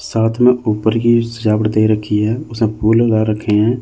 साथ में ऊपर की सजावटें रखी है उसमें फूल लगा रखे हैं।